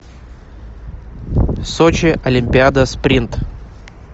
сочи олимпиада спринт